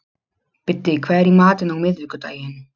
Biddi, hvað er í matinn á miðvikudaginn?